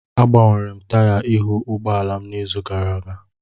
Agbanwere m taya ihu ụgbọ ala m n'izu gara aga